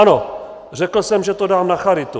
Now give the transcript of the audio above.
Ano, řekl jsem, že to dám na charitu.